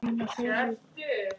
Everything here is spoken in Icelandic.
Björg Erla.